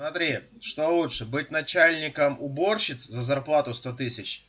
смотри что лучше быть начальником уборщиц за зарплата сто тысяч